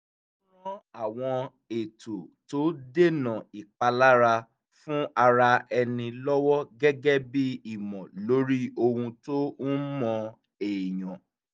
ó ran àwọn ètò tó dènà ìpalára fún ara ẹni lọ́wọ́ gẹ́gẹ́ bí ìmọ̀ lórí ohun tó ń mó èèyàn